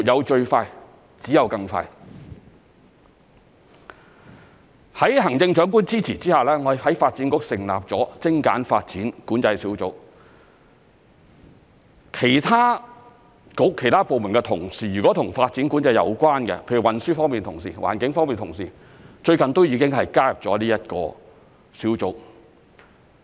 "在行政長官支持下，我們在發展局成立了精簡發展管制督導小組，其他政策局、其他部門的同事，如果和發展管制有關，例如運輸方面同事、環境方面同事，最近都已加入了這個小組。